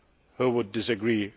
Minister who would